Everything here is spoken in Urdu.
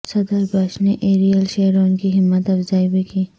صدر بش نے ایریل شیرون کی ہمت افزائی بھی کی